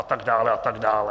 A tak dále, a tak dále.